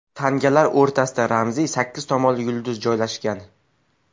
Tangalar o‘rtasida ramziy sakkiz tomonli yulduz joylashgan.